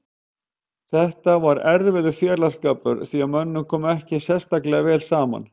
Þetta var erfiður félagsskapur því að mönnum kom ekki sérstaklega vel saman.